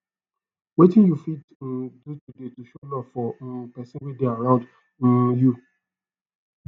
wetin you fit um do show love for um pesin wey dey around um you